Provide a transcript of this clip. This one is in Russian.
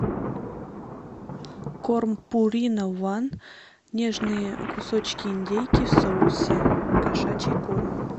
корм пурина ван нежные кусочки индейки в соусе кошачий корм